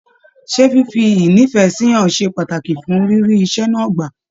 Ṣe fífi ínífẹsí hàn ṣe pàtàkì fún rírí iṣẹ náà gbà?